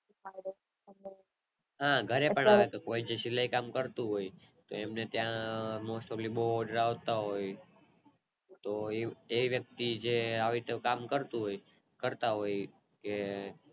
હા ઘરે પણ આપે જે સિલાય કામ કરતુ હોય તો એમને ત્યાં most topli બોવ Odair આવતા હોય તો એ વ્યકતિ જે આવી રીતે કામ કરતુ હોય કરતા હોય કે